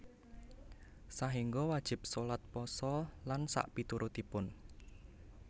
Sahinggo wajib sholat pasa lan sakpiturutipun